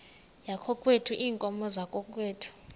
yakokwethu iinkomo zakokwethu